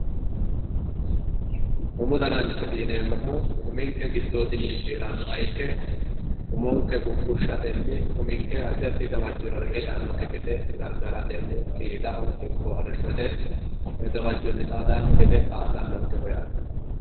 umu danancho yineemmohu uminke giddoydinni ciirannoha ikke umonke guggushshatenni uminke addi addi gawajjora reqecci yaannokki gede gargaratenni qiidaho ikko arrishshote gawajjonni xaadawookki gede kaa'lawoonkeho yaate.